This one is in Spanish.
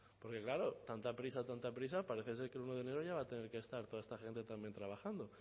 porque claro tanta prisa tanta prisa parece ser que el uno de enero va a tener que estar toda esta gente también trabajando